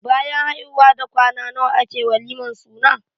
Bayan haihuwa da kwana nawa ake walimar suna?